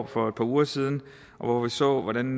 for par uger siden hvor vi så hvordan